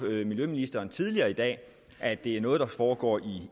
miljøministeren tidligere i dag at det er noget der foregår